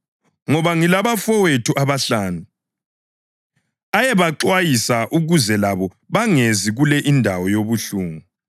ngoba ngilabafowethu abahlanu. Ayebaxwayisa ukuze labo bangezi kule indawo yobuhlungu.’